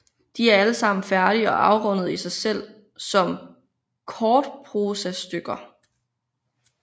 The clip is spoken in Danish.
De er alle sammen færdige og afrundede i sig selv som kortprosastykker